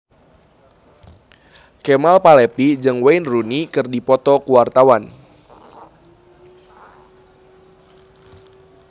Kemal Palevi jeung Wayne Rooney keur dipoto ku wartawan